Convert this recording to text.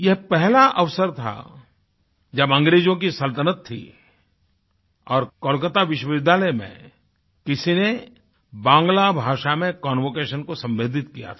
यह पहला अवसर था जब अंग्रेजों की सल्तनत थी और कोलकाता विश्वविद्यालय में किसी ने बांग्ला भाषा में कन्वोकेशन को संबोधित किया था